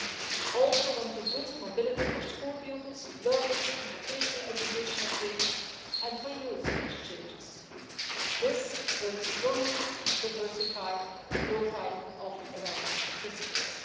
We also want to boost mobility for school pupils, learners in vocational education and training, and for youth exchanges. This will strongly diversify the profile of Erasmus participants.